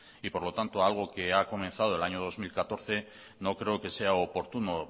y por lo tanto algo que ha comenzado el año dos mil catorce no creo que sea oportuno